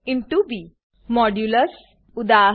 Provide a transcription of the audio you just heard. Modulus modulus ઉદા